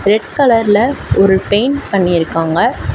Red கலர்ல ஒரு paint பண்ணியிருக்காங்க.